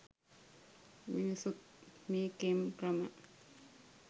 මිනිස්සුත් මේ කෙම් ක්‍රම